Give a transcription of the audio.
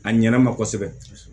A ɲɛna ma kosɛbɛ